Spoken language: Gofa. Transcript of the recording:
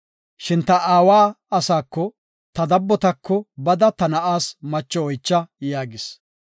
Shin ta aawa asaako, ta dabbotako bada ta na7aas macho oycha’ yaagis.